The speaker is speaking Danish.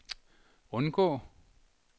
undgå